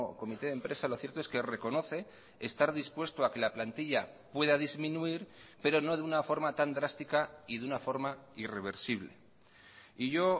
comité de empresa lo cierto es que reconoce estar dispuesto a que la plantilla pueda disminuir pero no de una forma tan drástica y de una forma irreversible y yo